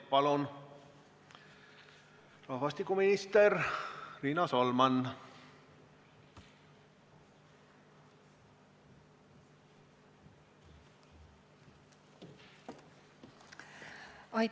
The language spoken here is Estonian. Palun, rahvastikuminister Riina Solman!